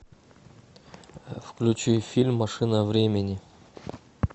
включи фильм машина времени